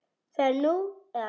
Það er nú eða aldrei.